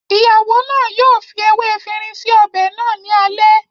ìyàwó náà yóò fi ewé efinrin sí ọbẹ̀ náà ní alẹ́